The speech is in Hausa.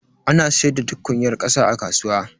Ana siyar da tukunyar kasa a kasuwa.